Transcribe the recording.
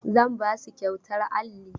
Zan ba su kyautar alli.